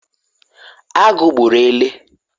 agu gburu ele